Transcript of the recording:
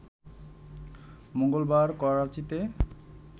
মঙ্গলবার করাচিতে